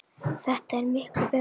Þetta er miklu betra svona.